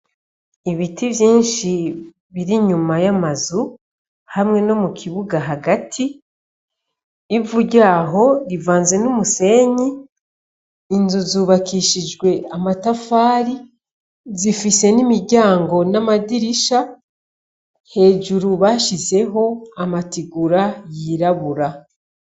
Ibiti vyinshi biri inyuma y'amazu hamwe no mukibuga hagati, ivu ryaho rivanze n'umusenyi, inzu zaho zubakishijwe n'amatafari zifise n'imiryango n'amadirisha, hajuru bashizeho amategura yirabura.